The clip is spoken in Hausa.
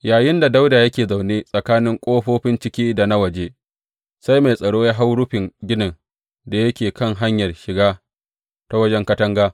Yayinda Dawuda yake zaune tsakanin ƙofofin ciki da na waje, sai mai tsaro ya hau rufin ginin da yake kan hanyar shiga ta wajen katanga.